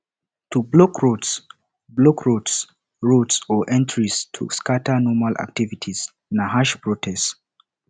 to blockroads blockroads roads or entrances to scatter normal activity na harsh protest